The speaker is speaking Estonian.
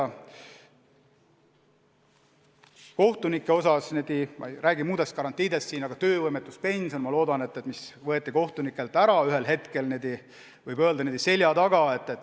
Mis puutub kohtunikessse, siis ma ei räägi muudest garantiidest, aga töövõimetuspension võeti kohtunikelt ühel hetkel, võib öelda, niimoodi selja taga ära.